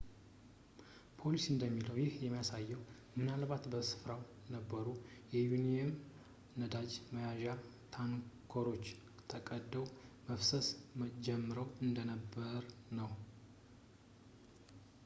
ፖሊስ እንደሚለው ይህ የሚያሳየው ምናልባት በሥፍራው የነበሩ የዩራኒየም ነዳጅ መያዣ ታንከሮች ተቀደው መፍሰስ ጀምረው እንደነበርነው